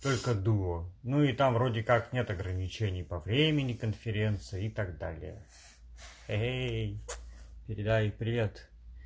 только дуо ну и там вроде как нет ограничений по времени конференции и так далее эй передай привет